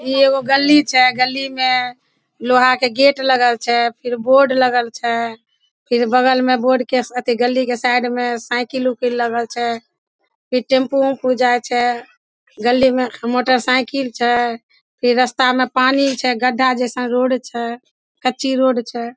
ई एगो गली छै | गली में लोहा के गेट लागल छै | फिर बोर्ड लागल छै | फिर बगल में बॉर्ड के साथ गली के साइड में साइकिल उइकिल लागल छै फिर टैम्पो उम्पू जाय छै गली में मोटरसाइकिल छै फिर रस्ता में पानी छै फिर रस्ता में पानी छै गड्ढा जइसन रोड छै कच्ची रोड छै ।